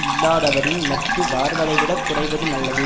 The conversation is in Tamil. இல்லாதவரின் நட்பு வளர்வதைவிடக் குறைவது நல்லது